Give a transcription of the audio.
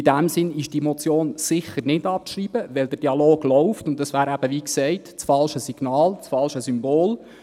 In dem Sinn ist die Motion sicher nicht abzuschreiben, weil der Dialog läuft, und es wäre, wie gesagt, das falsche Signal, das falsche Symbol.